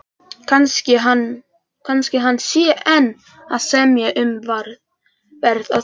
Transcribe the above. Kannski hann sé enn að semja um verð á þeim.